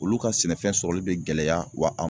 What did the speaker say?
Olu ka sɛnɛfɛn sɔrɔli bɛ gɛlɛya wa a